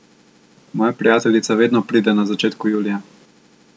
Moja prijateljica vedno pride na začetku julija.